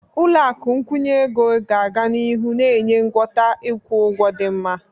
Ụlọ akụ nkwụnye ego ga-aga n'ihu na-enye ngwọta ịkwụ ụgwọ dị mma.